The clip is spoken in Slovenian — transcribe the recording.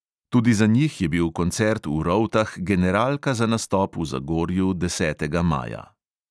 Tudi za njih je bil koncert v rovtah generalka za nastop v zagorju desetega maja.